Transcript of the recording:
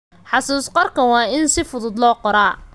Xusuus-qorka waa in si fudud loo qoraa.